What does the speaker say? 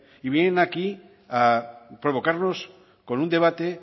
y vienen aquí a provocarnos con un debate